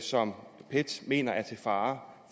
som pet mener er til fare